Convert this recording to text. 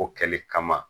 O kɛli kama